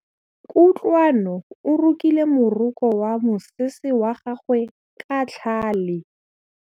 Kutlwanô o rokile morokô wa mosese wa gagwe ka tlhale.